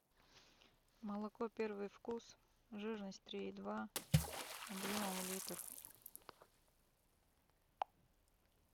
молоко первый вкус жирность три и два объемом литр